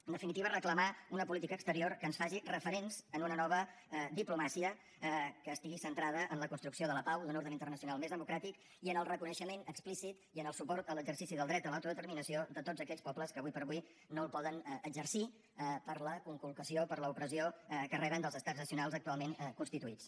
en definitiva reclamar una política exterior que ens faci referents en una nova diplomàcia que estigui centrada en la construcció de la pau i d’un ordre internacional més democràtic i en el reconeixement explícit i en el suport a l’exercici del dret a l’autodeterminació de tots aquells pobles que ara com ara no el poden exercir per la conculcació per l’opressió que reben dels estats nacionals actualment constituïts